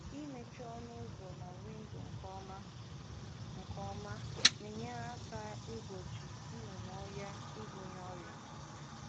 Mmechi ọnụ ụzọ na windo nke ọma na-enyere aka igbochi nnụnụ ọhịa ibuga ọrịa.